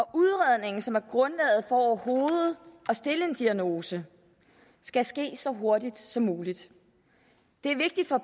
udredningen som er grundlaget for overhovedet at stille en diagnose skal ske så hurtigt som muligt det er vigtigt for